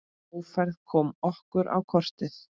Ófærð kom okkur á kortið.